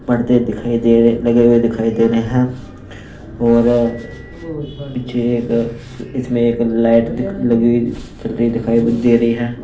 पड़ते दिखाई दे रहे लगे हुए दिखाई दे रहे हैं और पीछे एक इसमें एक लाइट लगी हुई चल रही दिखाई दे रही है।